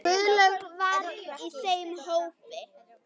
Guðlaug var í þeim hópi.